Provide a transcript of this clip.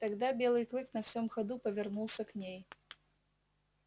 тогда белый клык на всём ходу повернулся к ней